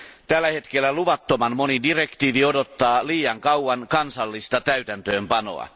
Tällä hetkellä luvattoman moni direktiivi odottaa liian kauan kansallista täytäntöönpanoa.